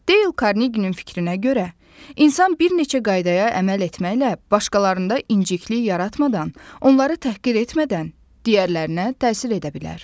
Deyl Karneginin fikrinə görə, insan bir neçə qaydaya əməl etməklə başqalarında inciklik yaratmadan, onları təhqir etmədən digərlərinə təsir edə bilər.